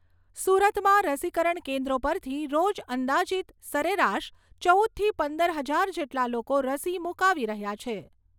સુરતમાં રસીકરણ કેન્દ્રો પરથી રોજ અંદાજિત સરેરાશ ચૌદથી પંદર હજાર જેટલા લોકો રસી મૂકાવી રહ્યા છે.